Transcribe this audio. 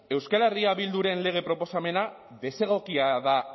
euskal herria bilduren lege proposamena desegokia da